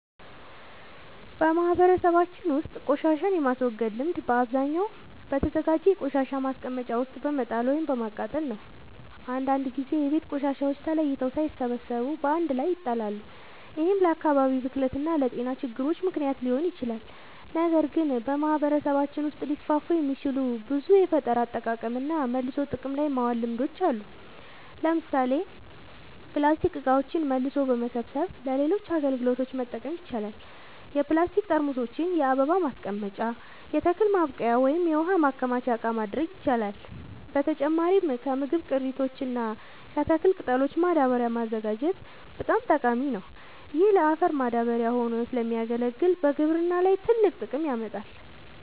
በማህበረሰባችን ውስጥ ቆሻሻን የማስወገድ ልምድ በአብዛኛው በተዘጋጀ የቆሻሻ ማስቀመጫ ውስጥ በመጣል ወይም በማቃጠል ነው። አንዳንድ ጊዜ የቤት ቆሻሻዎች ተለይተው ሳይሰበሰቡ በአንድ ላይ ይጣላሉ፤ ይህም ለአካባቢ ብክለት እና ለጤና ችግሮች ምክንያት ሊሆን ይችላል። ነገር ግን በማህበረሰባችን ውስጥ ሊስፋፉ የሚችሉ ብዙ የፈጠራ አጠቃቀምና መልሶ ጥቅም ላይ ማዋል ልምዶች አሉ። ለምሳሌ ፕላስቲክ እቃዎችን መልሶ በመሰብሰብ ለሌሎች አገልግሎቶች መጠቀም ይቻላል። የፕላስቲክ ጠርሙሶችን የአበባ ማስቀመጫ፣ የተክል ማብቀያ ወይም የውሃ ማከማቻ እቃ ማድረግ ይቻላል። በተጨማሪም ከምግብ ቅሪቶች እና ከተክል ቅጠሎች ማዳበሪያ ማዘጋጀት በጣም ጠቃሚ ነው። ይህ ለአፈር ማዳበሪያ ሆኖ ስለሚያገለግል በግብርና ላይ ትልቅ ጥቅም ያመጣል።